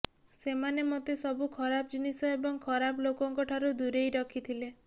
ସେମାନେ ମୋତେ ସବୁ ଖରାପ ଜିନିଷ ଏବଂ ଖରାପ ଲୋକଙ୍କଠାରୁ ଦୂରେଇ ରଖିଥିଲେ